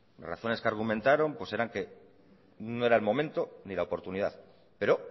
las razones que argumentaron pues eran que no era el momento ni la oportunidad pero